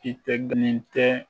I tɛ tɛ